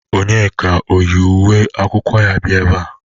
Ònyeka eyi uwe akwụkwọ ya bịa ebea?